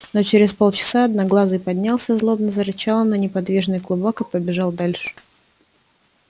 но через полчаса одноглазый поднялся злобно зарычал на неподвижный клубок и побежал дальше